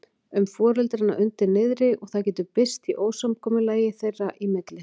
um foreldrana undir niðri og það getur birst í ósamkomulagi þeirra í milli.